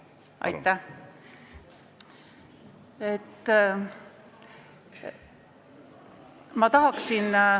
Aitäh!